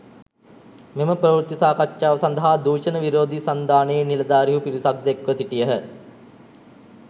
මෙම ප්‍රවෘත්ති සාකච්ඡාව සඳහා දූෂණ විරෝධී සන්ධානයේ නිලධාරීහු පිරිසක්‌ ද එක්‌ව සිටියහ.